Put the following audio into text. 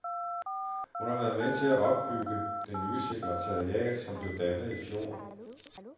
Hun har været med til at opbygge det nye sekretariat, som blev dannet i fjor.